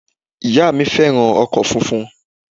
Ìyá à mí fẹ́ràn ọkọ̀ funfun